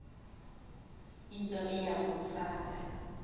into eya kumfaka